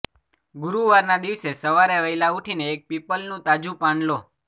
ગુરુવારના દિવસે સવારે વહેલા ઊઠીને એક પીપલનુ તાજુ પાન લો